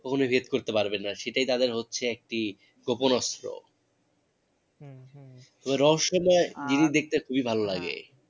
করতে পারবেন না সেটাই তাদের হচ্ছে একটি গোপন অস্ত্র হম হম তবে রহস্যময় জিনিস দেখতে খুবই ভালো লাগে